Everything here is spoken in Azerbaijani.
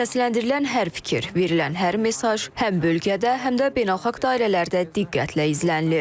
Səsləndirilən hər fikir, verilən hər mesaj həm bölgədə, həm də beynəlxalq dairələrdə diqqətlə izlənilir.